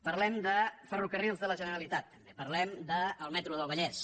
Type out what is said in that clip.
parlem de ferrocarrils de la generalitat també parlem del metro del vallès